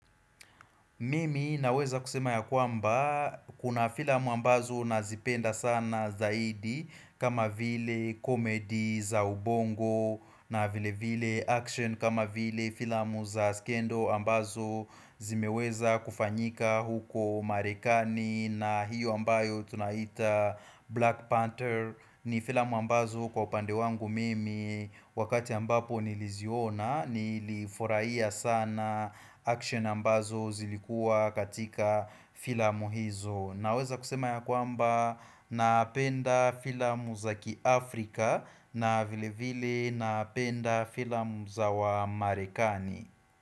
Mimi naweza kusema ya kwamba kuna filamu ambazo nazipenda sana zaidi kama vile comedy za ubongo na vile vile action kama vile filamu za skendo ambazo zimeweza kufanyika huko marekani na hiyo ambayo tunaita Black Panther. Ni filamu ambazo kwa upande wangu mimi Wakati ambapo niliziona Nilifurahia sana action ambazo zilikua katika filamu hizo Naweza kusema ya kwamba Napenda filamu za ki Afrika na vile vile napenda filamu za wa Marekani.